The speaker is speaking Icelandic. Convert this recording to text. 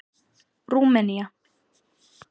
Rúmenía